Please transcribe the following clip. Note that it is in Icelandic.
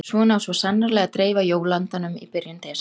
Svona á svo sannarlega að dreifa jóla-andanum í byrjun desember.